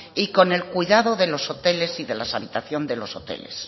y con el cuidado de los hoteles y de las habitaciones de los hoteles